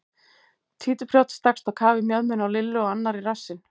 Títuprjónn stakkst á kaf í mjöðmina á Lillu og annar í rassinn.